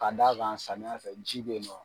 Ka d'a kan samiya fɛ ji bɛ ye nɔ.